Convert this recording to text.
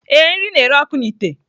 Ee, nri na-ere ọkụ n’ite